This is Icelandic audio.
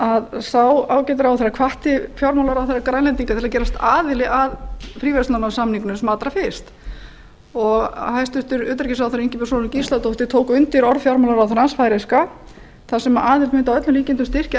að sá ágæti ráðherra hvatti fjármálaráðherra grænlendinga til þess að gerast aðilar að fríverslunarsamningnum sem allra fyrst hæstvirts utanríkisráðherra ingibjörg sólrún gísladóttir tók undir orð fjármálaráðherrans færeyska þar sem aðild mundi að öllum líkindum styrkja